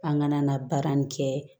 An kana na baara nin kɛ